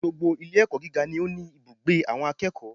Gbogbo Ilé ẹ̀kọ́ gíga ni ó ní ibùgbé àwọn akẹ́kọ̀ọ́